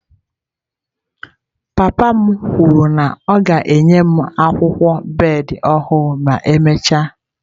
Papa m kwuru na ya ga-enye m akwụkwọ bed ọhụrụ ma emechaa.